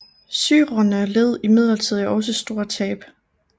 Syrerne led imidlertid også store tab